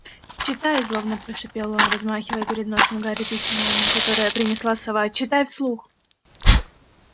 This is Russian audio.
читай злобно прошипел он размахивая перед носом гарри письмом которое принесла сова читай вслух